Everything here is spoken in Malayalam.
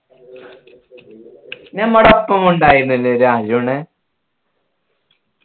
നമ്മുടെ ഒപ്പമുണ്ടായിരുന്നില്ലേ ഒരു അരുണ്